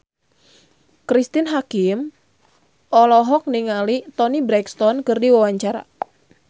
Cristine Hakim olohok ningali Toni Brexton keur diwawancara